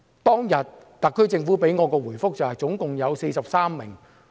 特區政府當天給我的答覆是共有43人。